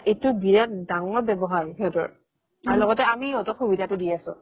এইটো বিৰাত ডাঙৰ ব্যৱসায় সিহতৰ আৰু লগতে আমি সিহতক সুবিধাটো দি আছো